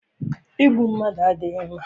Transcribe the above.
Igbu mmadụ adịghị mma.